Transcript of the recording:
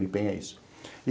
Uripen é isso.